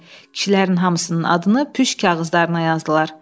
Kişilərin hamısının adını püşk kağızlarına yazdılar.